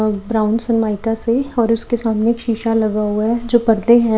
और brown Sunmica से और उसके सामने एक शीशा लगा हुआ है जो पर्दे हैं।